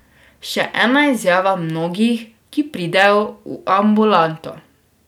Še ena izjava mnogih, ki pridejo v ambulanto.